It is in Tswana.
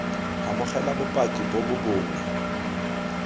amogela bopaki bo bo bonweng